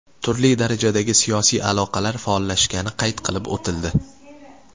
Turli darajadagi siyosiy aloqalar faollashgani qayd qilib o‘tildi.